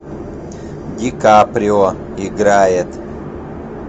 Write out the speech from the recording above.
ди каприо играет